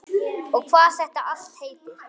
Og hvað þetta allt heitir.